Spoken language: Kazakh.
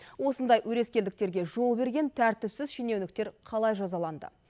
осындай өрескелдіктерге жол берген тәртіпсіз шенеуніктер қалай жазаланды